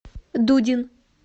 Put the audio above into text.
дудин